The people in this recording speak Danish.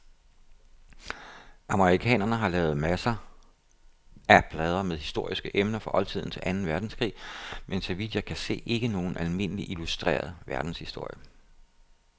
Amerikanerne har lavet masser plader med historiske emner, fra oldtiden til anden verdenskrig, men så vidt jeg kan se ikke nogen almindelig illustreret verdenshistorie.